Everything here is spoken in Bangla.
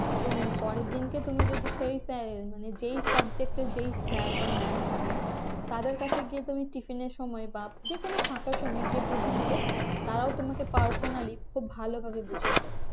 তুমি পরের দিনকে তুমি যদি শরীর চায় যেই subject এর যেই sir বা mam থাকেন তাদের কাছে গিয়ে তুমি tiffin এর সময় বা যেকোনো ফাঁকা সময়ে গিয়ে বুঝে নিলে তারাও তোমাকে personally খুব ভালোভাবে বুঝিয়ে দেবে